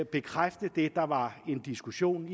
bekræfte det der var en diskussion